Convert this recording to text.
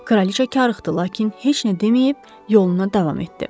Kraliça karıxdı, lakin heç nə deməyib yoluna davam etdi.